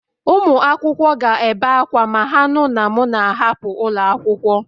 Ụmụ akwụkwọ ga-ebe akwa ma ha nụ na m na-ahapụ ụlọ akwụkwọ